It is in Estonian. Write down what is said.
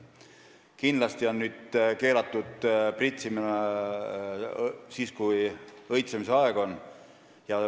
Kindlasti on nüüd keelatud pritsimine õitsemise ajal.